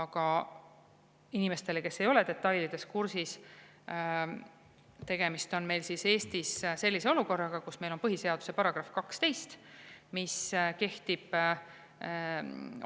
Aga inimestele, kes ei ole detailidega kursis: tegemist on meil Eestis sellise olukorraga, kus meil on põhiseaduse § 12, mis kehtib